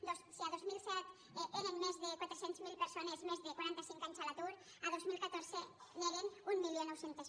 si a dos mil set eren més de quatre cents miler persones de més de quaranta cinc anys a l’atur a dos mil catorze n’eren mil nou cents